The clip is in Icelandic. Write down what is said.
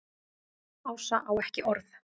Ása á ekki orð.